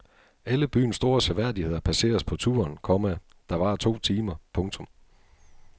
Alle byens store seværdigheder passeres på turen, komma der varer to timer. punktum